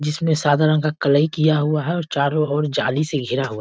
जिसमें सादा रंग का कलई किया हुआ है और चारो और जाली से घेरा हुआ --